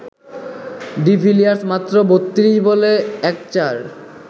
de Villiers মাত্র ৩২ বলে ১ চার